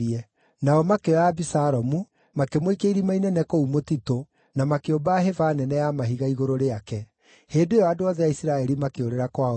Nao makĩoya Abisalomu, makĩmũikia irima inene kũu mũtitũ, na makĩũmba hĩba nene ya mahiga igũrũ rĩake. Hĩndĩ ĩyo andũ othe a Isiraeli makĩũrĩra kwao mĩciĩ.